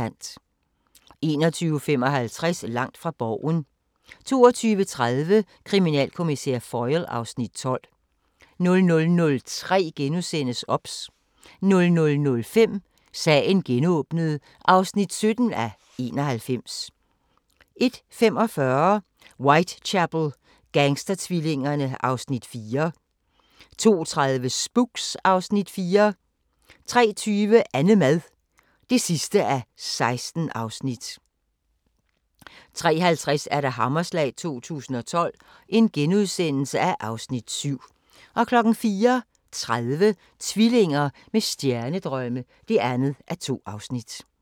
21:55: Langt fra Borgen 22:30: Kriminalkommissær Foyle (Afs. 12) 00:03: OBS * 00:05: Sagen genåbnet (17:91) 01:45: Whitechapel: Gangstertvillingerne (Afs. 4) 02:30: Spooks (Afs. 4) 03:20: Annemad (16:16) 03:50: Hammerslag 2012 (Afs. 7)* 04:30: Tvillinger med stjernedrømme (2:2)